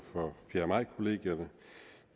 for fjerde maj kollegierne